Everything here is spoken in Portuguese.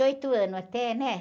oito anos anos até, né?